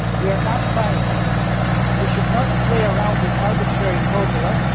we are not scientists. We should not play around with arbitrary formulas.